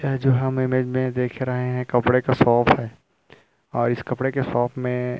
यह जो हम इमेज में देख रहे हैं कपड़े का शॉप है और इस कपड़े के शॉप में --